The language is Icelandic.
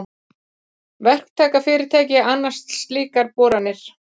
Verktakafyrirtæki annast slíkar boranir.